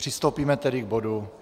Přistoupíme tedy k bodu